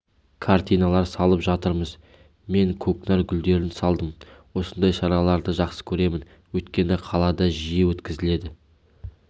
картиналар салып жатырмыз мен көкнәр гүлдерін салдым осындай шараларды жақсы көремін өйткені қалада жиі өткізіледі